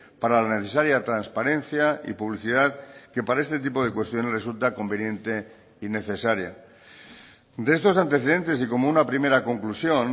para la necesaria transparencia y publicidad que para este tipo de cuestiones resulta conveniente y necesaria de estos antecedentes y como una primera conclusión